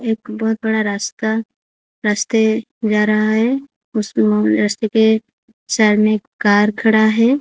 एक बहुत बड़ा रास्ता रास्ते जा रहा है उसमें उस रास्ते पे सामने एक कार खड़ा है।